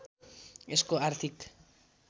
यसको आर्थिक